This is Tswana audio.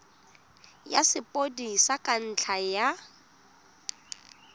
ya sepodisi ka ntlha ya